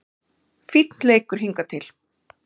Fínn leikur hingað til